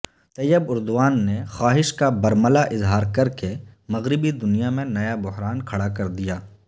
طیب Erdogan نےخواہش کا برملا اظہار کرکے مغربی دنیا میں نیا بحران کھڑا کردیا